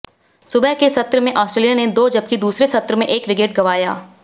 सुबह के सत्र में ऑस्ट्रेलिया ने दो जबकि दूसरे सत्र में एक विकेट गंवाया